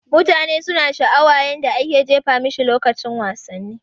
Mutane suna sha'awa yadda ake jefa mashi lokacin wasanni